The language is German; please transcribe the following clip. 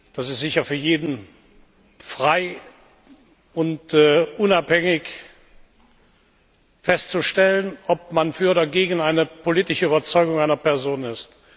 Das ist sicher für jeden frei und unabhängig festzustellen, ob man für oder gegen eine politische Überzeugung einer Person ist.